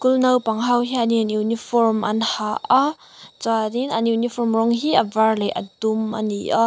naupang ho hianin uniform an ha a chuanin an uniform rawng hi a dum leh a var a ni a.